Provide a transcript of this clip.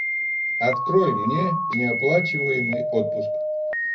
открой мне неоплачиваемый отпуск